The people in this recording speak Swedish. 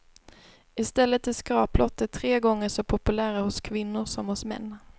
I stället är skraplotter tre gånger så populära hos kvinnor som hos män.